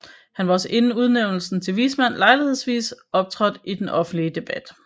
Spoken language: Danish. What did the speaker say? Han har også inden udnævnelsen til vismand lejlighedsvis optrådt i den offentlige debat